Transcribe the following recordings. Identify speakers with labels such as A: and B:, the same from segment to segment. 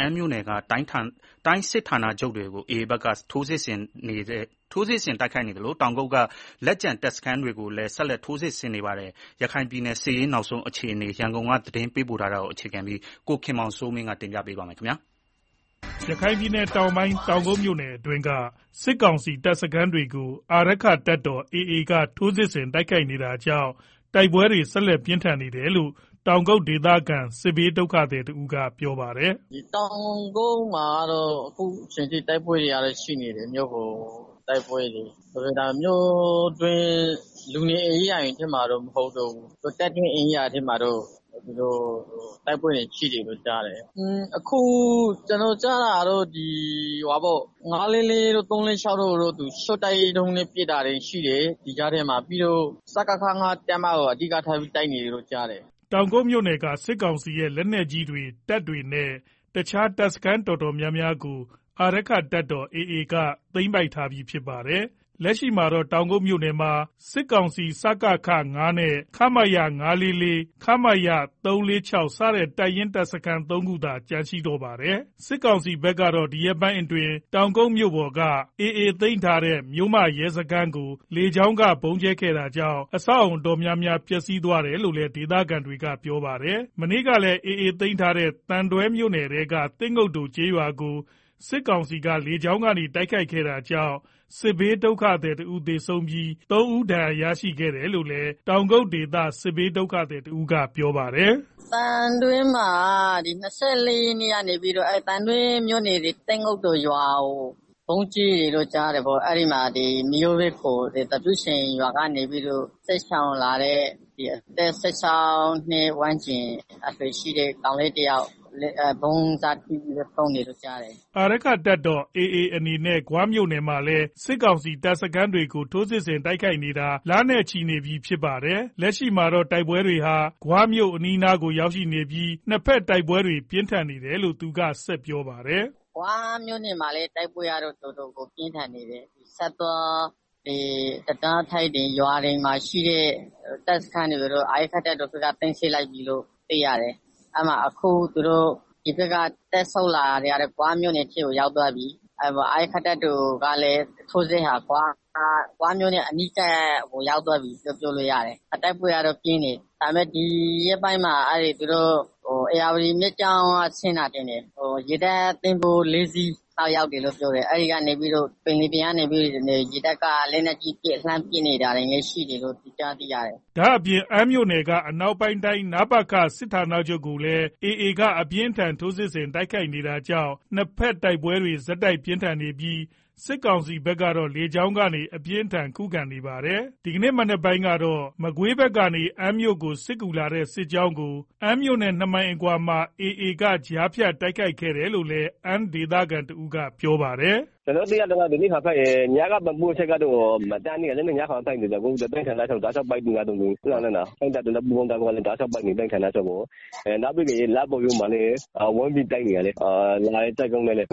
A: အမ်းမြို့နယ်က တိုင်းစစ်ဌာန ချုပ်ကို AAဘက်က ထိုးစစ်ဆင်နေဆဲဖြစ်သလိုတောင်ကုတ်က လက်ကျန် တပ်စခန်းတွေ ကိုလည်း ဆက်လက်ထိုးစစ်ဆင်နေတာပါ။ ရခိုင်ပြည်နယ် စစ်ရေးနောက်ဆုံးအခြေအနေ ရန်ကုန်က သတင်းပေးပို့ထားတာကို အခြေခံပြီး ကိုခင်မောင်စိုးမင်း တင်ပြထားပါတယ်။ ရခိုင်ပြည်နယ်တောင်ကိုင်း တောင်ကုတ်မြို့နယ်အတွင်းက စစ်ကောင်စီရဲ့ တပ်ရင်းတပ်စခန်းတွေကို အာရက္ခတပ်တော် AA ဘက်က ထိုးစစ်ဆင်တိုက်ခိုက်နေတာကြောင့် နှစ်ဘက်တိုက်ပွဲတွေ ဆက်လက် ပြင်းထန်နေတယ်လို့ တောင်ကုတ်ဒေသခံ စစ်ဘေးဒုက္ခသည်တဦးကပြောပါတယ်။ “တော
B: င်ကုတ်မှာကတော့ တိုက်ပွဲတွေက ရှိနေတယ်။ မြို့ပေါ်တိုက်ပွဲတွေ၊ ဒါပေမယ့် လူနေရပ်ကွက် တွေမှာတော့ မဟုတ်ဘူး။ တပ်ဧရိယာထဲမှာတော့ တိုက်ပွဲတွေရှိတယ်လို့ကြားတယ်၊ အခု ကျနော်ကြား တာတော့ ၅၄၄ တို့၊ ၃၄၆ တို့တော့ရှော့တိုက်ဒုံးတွေနဲ့ပစ်တာရှိတယ်။ ပြီးတော့ စကခ တပ်မကို အဓိကထား တိုက်နေတယ်လို့ကြားတယ်။
A: ” တောင်ကုတ်မြို့နယ်က စစ်ကောင်စီရဲ့ လက်နက်ကြီးတွေတပ်တွေနဲ့ တခြား တပ်စခန်းတော်တော်များ များကို အာရက္ခတပ်တော် AA ဘက်က သိမ်းပိုက်ထားပြီးဖြစ်ပါတယ်။ လက်ရှိမှာတော့ တောင်ကုတ် မြို့နယ်မှာ စစ်ကောင်စီရဲ့ စကခ အပါအဝင် ခမရ ၅၄၄၊ ခမရ ၃၄၆ စတဲ့ တပ်ရင်း တပ်စခန်း ၃ ခုသာ ကျန်ပါတော့တယ်။ စစ်ကောင်စီဘက်ကတော့ဒီရက်ပိုင်းအတွင်း တောင်ကုတ်မြို့ပေါ်က မြို့မရဲစခန်းကို လေကြောင်း ဗုံးကြဲခဲ့တာကြောင့် အဆောက်အဦးအများအပြား ပျက်စီးသွားတယ်လို့လည်း ဒေသခံတွေ ကပြောပါတယ်။ မနေ့ နိုဝင်ဘာ ၂၄ ရက်နေ့ကလည်း AAသိမ်းပိုက်ထားတဲ့ သံတွဲမြို့နယ်ထဲက သစ်ငုတ်တိုကျေးရွာကို စစ်ကောင်စီကလေကြောင်းဗုံးကြဲခဲ့တာကြောင့် စစ်ဘေးဒုက္ခသည်တဦး သေဆုံးပြီးတော့ ၃ ဦး ဒဏ်ရာရရှိခဲ့တယ်လို့လည်း တောင်ကုတ်ဒေသခံ စစ်ဘေးဒုက္ခသည်တဦးကပြောပါတယ်။
B: “သံတွဲမှာက ၂၄ ရက်နေ့ကနေပြီးတော့ သံတွဲမြို့နယ် သစ်ငုတ်တိုရွာကိုဗုံးကြဲတယ်လို့ကြားတယ်။ အဲဒီမှာ သံတွဲမြို့နယ်သပြုချိုင်ရွာက စစ်ဘေးရှောင်လာတဲ့ အသက် ၁၆ နှစ်ဝန်းကျင်ရှိတဲ့ ကောင်လေး တယောက် ဗုံးစထိပြီတော့ဆုံးတယ်လို့ကြားတယ်။
A: ” အာရက္ခတပ်တော် AA အနေနဲ့ ဂွမြို့နယ်မှာလည်း စစ်ကောင်စီတပ်စခန်းတွေကို ထိုးစစ်ဆင် တိုက်ခိုက်နေတာ လနဲ့ချီနေပါပြီ။ လက်ရှိမှာတော့ တိုက်ပွဲတွေဟာ ဂွမြို့နားအထိရောက်လာနေပြီး တိုက်ပွဲတွေ ပြင်းထန်နေတယ်လို့ သူကဆက်ပြောပါတယ်။
B: “ဂွမြို့နယ်မှာလည်း တိုက်ပွဲကတော့ တော်တော်ပြင်းထန်နေတယ်။ ဆတ်သွား တံတားထိပ်တွေ ရွာတွေမှာ ရှိတဲ့ တပ်စခန်းတွေကိုတော့ အာရက္ခတပ်တော် AA ဘက်က... အခုသူတို့က တပ်ဆုတ်လာ တော့ ဂွမြို့နယ်ထဲကို ရောက်သွားပြီ။ အာရက္ခတပ်တော် AA ထိုးစစ်ဟာလည်း ဂွမြို့အနီးကို ရောက်သွားပြီလို့ ပြောလို့ရတယ်။ တိုက်ပွဲကလည်းပြင်းထန်နေတယ်။ ဒါပေမယ့် ဒီရက်ပိုင်းမှာ ဧရာဝတီဘက်က ဆင်းလာတဲ့ ရေတပ်သင်္ဘော ၄ စီးလောက် ရောက်တယ်လို့ပြောတယ်။ အဲဒီသင်္ဘောတွေက ပင်လယ်ပြင်ကနေပြီးတော့ လက်နက်ကြီးတွေနဲ့ လှမ်းပစ်နေတာ ရှိတယ်လို့ လည်းကြားသိရတယ်။
A: ” ဒါ့အပြင် အမ်းမြို့နယ်က အနောက်ပိုင်းတိုင်းစစ်ဌာနချုပ်ကိုလည်း AA ဘက်က အပြင်းအထန် ထိုးစစ်ဆင် တိုက်ခိုက်နေတာကြောင့် တိုက်ပွဲတွေ တောက်လျှောက်ပြင်းထန်နေပြီး စစ်ကောင်စီ ဘက်က လေကြောင်းကနေ အပြင်းအထန်ခုခံနေတာလည်းဖြစ်ပါတယ်။ ဒီကနေ့မနက်ပိုင်းမှာတော့ မကွေးဘက်ကနေ အမ်းမြို့ကို စစ်ကူလာတဲ့ စစ်ကောင်စီစစ်ကြောင်းကို အမ်းမြို့နဲ့ နှစ်မိုင်လောက်အကွာမှာ AAဘက်က ကြားဖြတ်တိုက်ခိုက်ခဲ့တယ်လို့လည်း အမ်းဒေသခံ တဦးက ရခိုင်ဘာသာန
B: ဲ့ အခုလိုပြောပါတယ်။ “ကျနော်သိရသလောက် မနေ့ကဖြစ်တဲ့ တိုက်ပွဲတွေတောင် မရပ်တန့်သေးသလို အခုထိ တိုင်းဌာနချုပ်ကိုတောက်လျှောက်ပစ်နေကြတယ်။ ရခိုင့်တပ်တော်နဲ့ ပူးပေါင်းတပ်တွေက တောက်လျှောက်ပစ်နေတာ။ နောက်ပြီးတော့လဒ်ကိုရိုးမှာလည်း ဝိုင်းပြီးတော့ တိုက်နေတာ။ မ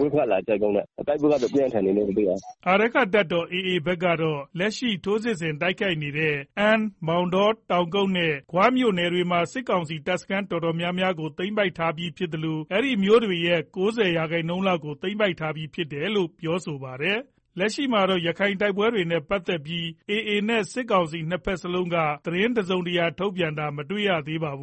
B: ကွေးဘက်က လာတဲ့ စစ်ကြောင်းနဲ့ တိုက်ပွဲကတော့ ပြင်းထန်နေတယ်။”
A: အာရက္ခတပ်တော် AAဘက်ကတော့ လက်ရှိထိုးစစ်ဆင်တိုက်ခိုက်နေတဲ့ အမ်း၊ မောင်တော၊ တောင်ကုတ်နဲ့ ဂွမြို့နယ်တွေမှာ စစ်ကောင်စီတပ်စခန်းတော်တော်များများကို သိမ်းပိုက်ထားပြီး ဖြစ်သလို အဲဒီမြို့တွေရဲ့ ၉ဝ ရာခိုင်နှုန်းလောက်ကို သိမ်းပိုက်ထားပြီးဖြစ်တယ်လို့ ပြောထားပါတယ်။ လက်ရှိမှာတော့ ရခိုင်တိုက်ပွဲတွေနဲ့ ပတ်သက်ပြီး AA နဲ့စစ်ကောင်စီနှစ်ဘက်စလုံးက သတင်းတစုံတရာ ထုတ်ပြန်ထားတာမတွေ့ရသေးပါဘူး။